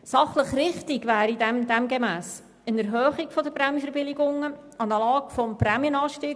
Sachlich richtig wäre anstelle einer Senkung eine Erhöhung der Prämienverbilligungen analog zum Prämienanstieg.